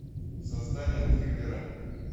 создание триллера